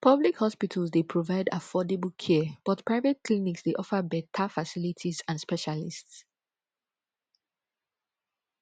public hospitals dey provide affordable care but private clinics dey offer beta facilities and specialists